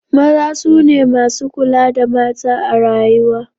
Maza su ne masu kula da mata a rayuwa.